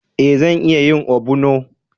Eh, zan iya yin ogbono